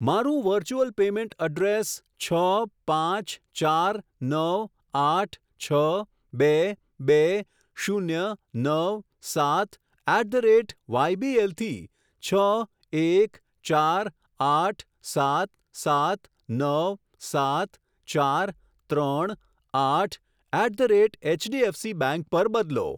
મારું virtual payment address છ પાંચ ચાર નવ આઠ છ બે બે શૂન્ય નવ સાત એટ ધ રેટ વાયબીએલ થી છ એક ચાર આઠ સાત સાત નવ સાત ચાર ત્રણ આઠ at the rate HDFC bank પર બદલો.